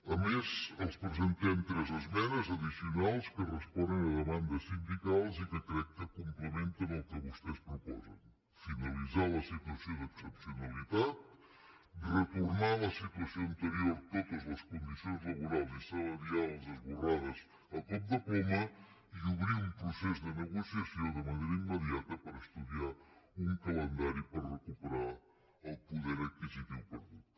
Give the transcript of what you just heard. a més els presentem tres esmenes addicionals que responen a demandes sindicals i que crec que complementen el que vostès proposen finalitzar la situació d’excepcionalitat retornar a la situació anterior totes les condicions laborals i salarials esborrades a cop de ploma i obrir un procés de negociació de manera immediata per estudiar un calendari per recuperar el poder adquisitiu perdut